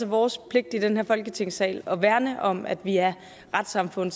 vores pligt i den her folketingssal at værne om at vi er et retssamfund